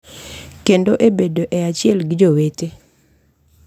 Kendo e bedo e achiel gi jowete